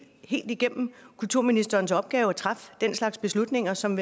igennem kulturministerens opgave at træffe den slags beslutninger som